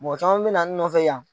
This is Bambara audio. Mɔgɔ caman bɛ na n nɔ fɛ yan.